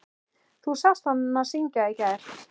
Þú sást hana syngja í gær.